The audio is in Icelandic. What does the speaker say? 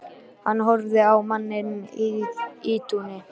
Hann horfir á manninn í ýtunni.